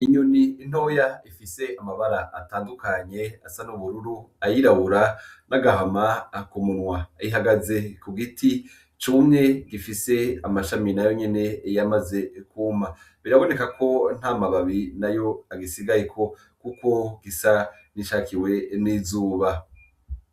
Inyoni intoya ifise amabara atandukanye asa n'ubururu ayirabura n'agahama akumumwa ihagaze ku giti cumwe gifise amashami na yo nyene iy amaze kuma biraboneka ko nta mababi na yo agisigayeko, kuko gisa nicakiwe n'izuba.